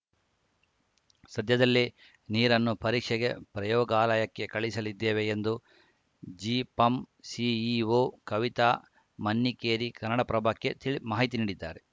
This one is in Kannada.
ಸದ್ಯದಲ್ಲೇ ನೀರನ್ನು ಪರೀಕ್ಷೆಗೆ ಪ್ರಯೋಗಾಲಯಕ್ಕೆ ಕಳುಹಿಸಲಿದ್ದೇವೆ ಎಂದು ಜಿಪಂ ಸಿಇಒ ಕವಿತಾ ಮನ್ನಿಕೇರಿ ಕನ್ನಡಪ್ರಭಕ್ಕೆ ತಿಳಿ ಮಾಹಿತಿ ನೀಡಿದ್ದಾರೆ